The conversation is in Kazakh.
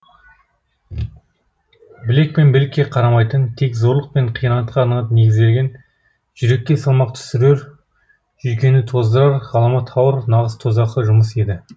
білек пен білікке қарамайтын тек зорлық пен қиянатқа ғана негізделген жүрекке салмақ түсірер жүйкені тоздырар ғаламат ауыр нағыз тозақы жұмыс еді